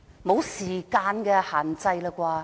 沒有時間限制了吧？